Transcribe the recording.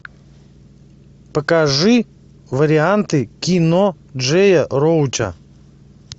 покажи варианты кино джея роуча